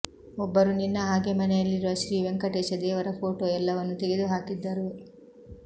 ಒಬ್ಬರು ನಿನ್ನ ಹಾಗೆ ಮನೆಯಲ್ಲಿರುವ ಶ್ರೀ ವೆಂಕಟೇಶ ದೇವರ ಫೋಟೋ ಎಲ್ಲವನ್ನು ತೆಗೆದು ಹಾಕಿದ್ದರು